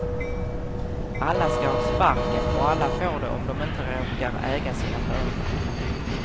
Alla skall ha sparken, och alla får det om de inte råkar äga sina företag.